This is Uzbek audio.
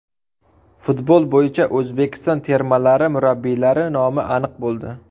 Futbol bo‘yicha O‘zbekiston termalari murabbiylari nomi aniq bo‘ldi.